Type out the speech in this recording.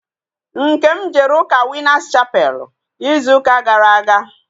Nkem jere ụka Winas chapelu ịzụ ụka gara aga